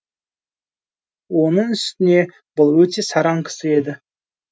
оның үстіне бұл өте сараң кісі еді